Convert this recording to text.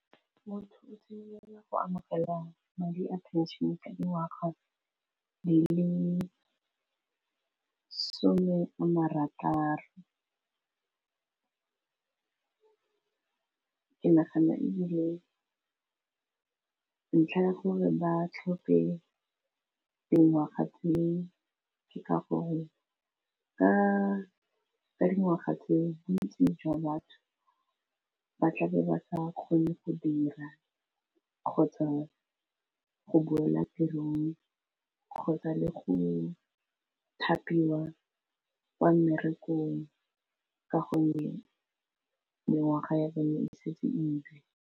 Motho o simolola go amogela madi a pension-e ka dingwaga di le some a marataro ke nagana ebile ntlha ya gore ba tlhope dingwaga tse ke ka gore ka dingwaga tse bontsi jwa batho ba tlabe ba sa kgone go dira, kgotsa go boela tirong, kgotsa le go thapiwa kwa mmerekong, ka gonne mengwaga ya bone e setse iIe.